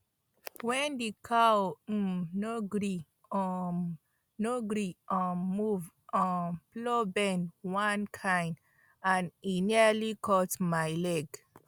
when the cow um no gree um no gree um move um plow bend one kind and e nearly cut my leg